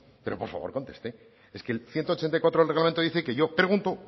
pero por favor conteste es que el ciento ochenta y cuatro del reglamento dice que yo pregunto